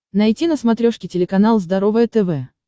найти на смотрешке телеканал здоровое тв